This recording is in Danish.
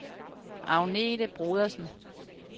Agnete Brodersen